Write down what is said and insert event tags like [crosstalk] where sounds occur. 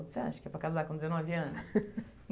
Você acha que é para casar com dezenove anos? [laughs]